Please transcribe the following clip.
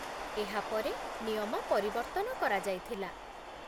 ଏହା ପରେ ନିୟମ ପରିବର୍ତ୍ତନ କରାଯାଇଥିଲା।